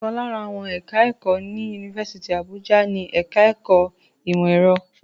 Ọ̀kan lára àwọn ẹ̀ka-ẹ̀kọ́ ní Yunifásítì Àbújá ni ẹ̀ka-ẹ̀kọ́ ìmọ̀-ẹ̀rọ.